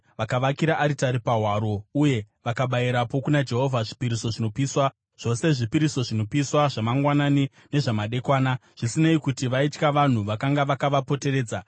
Vakavakira aritari pahwaro uye vakabayirapo kuna Jehovha zvipiriso zvinopiswa, zvose zvipiriso zvinopiswa zvamangwanani nezvamadekwana, zvisinei kuti vaitya vanhu vakanga vakavapoteredza.